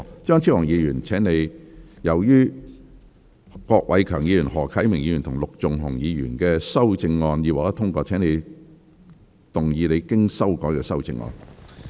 張超雄議員，由於郭偉强議員、何啟明議員及陸頌雄議員的修正案已獲得通過，請動議你經修改的修正案。